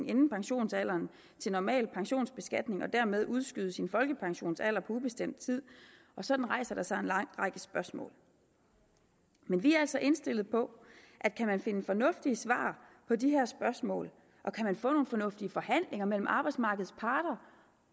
inden pensionsalderen til normal pensionsbeskatning og dermed udskyde sin folkepensionsalder på ubestemt tid og sådan rejser der sig en lang række spørgsmål men vi er altså indstillet på at kan man finde fornuftige svar på de her spørgsmål og kan man få nogle fornuftige forhandlinger mellem arbejdsmarkedets parter